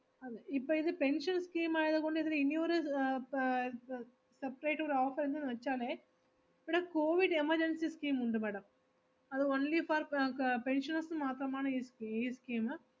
അതെ, ഇപ്പൊ ഇത് pension scheme ആയത് കൊണ്ട് ഇതിന് ഇനി ഒരു അഹ് പ~ ഇപ്പൊ separate ഒരു offer ന്ന് വെച്ചാലെ ഇവിടെ കോവിഡ് emergency scheme ഉണ്ട് madam അത് only for pe~ pensioners ന് മാത്രമാണ് ഈ സ്കി~ ഈ scheme